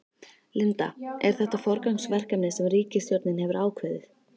Linda, er þetta forgangsverkefni sem ríkisstjórnin hefur ákveðið?